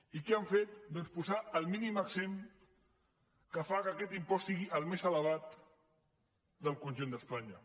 i què han fet doncs posar el mínim exempt que fa que aquest impost sigui el més elevat del conjunt d’espanya